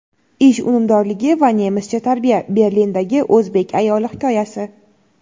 ish unumdorligi va nemischa tarbiya — Berlindagi o‘zbek ayoli hikoyasi.